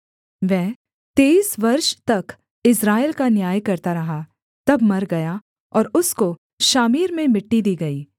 वह तेईस वर्ष तक इस्राएल का न्याय करता रहा तब मर गया और उसको शामीर में मिट्टी दी गई